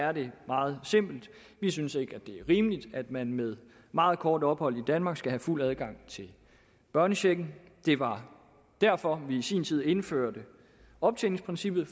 er det meget simpelt vi synes ikke det er rimeligt at man med meget kort ophold i danmark skal have fuld adgang til børnechecken det var derfor vi i sin tid indførte optjeningsprincippet